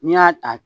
N'i y'a ta